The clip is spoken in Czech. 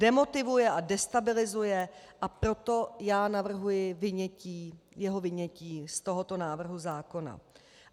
Demotivuje a destabilizuje, a proto já navrhuji jeho vynětí z tohoto návrhu zákona.